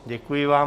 Děkuji vám.